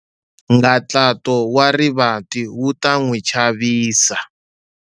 Nghantlato wa rivati wu ta n'wi chavisa.